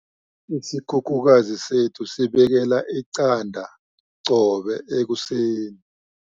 Isikhukhukazi sethu sibekela iqanda qobe ekuseni.